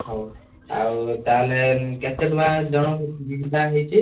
ହଉ ଊ ତାହେଲେ ମୁଁ କେତେ ଟଙ୍କା ଜଣଙ୍କ ପିଛା ହେଇଛି।